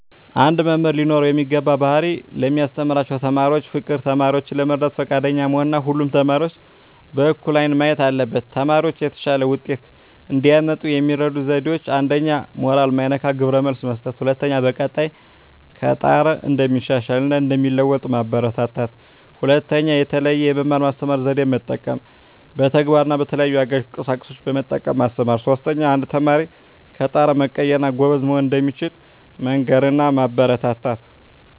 አንድ መምህር ሊኖረው የሚገባው ባህሪ ለሚያስተምራቸው ተማሪዎች ፍቅር፣ ተማሪዎችን ለመርዳት ፈቃደኛ መሆን እና ሁሉንም ተማሪዎች በእኩል አይን ማየት አለበት። ተማሪዎች የተሻለ ውጤት እንዲያመጡ የሚረዱ ዜዴዎች 1ኛ. ሞራል ማይነካ ግብረ መልስ መስጠት፣ በቀጣይ ከጣረ እንደሚሻሻል እና እንደሚለዎጡ ማበራታታት። 2ኛ. የተለየ የመማር ማስተማር ዜዴን መጠቀም፣ በተግባር እና በተለያዩ አጋዥ ቁሳቁሶችን በመጠቀም ማስተማር። 3ኛ. አንድ ተማሪ ከጣረ መቀየር እና ጎበዝ መሆን እንደሚችል መንገር እና ማበረታታት።